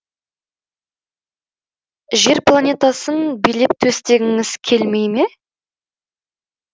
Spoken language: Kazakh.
жер планетасын билеп төстегіңіз келмей ме